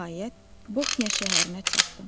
Nəhayət, Bohnya şəhərinə çatdım.